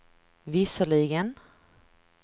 visserligen